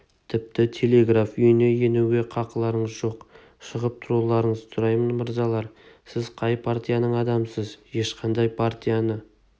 тіпті телеграф үйіне енуге қақыларыңыз жоқ шығып тұруларыңызды сұраймын мырзалар сіз қай партияның адамысыз ешқандай партияны